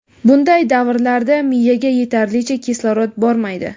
Bunday davrlarda miyaga yetarlicha kislorod bormaydi.